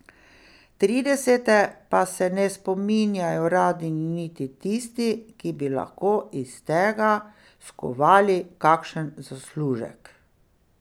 Tridesete pa se ne spominjajo radi niti tisti, ki bi lahko iz tega skovali kakšen zaslužek.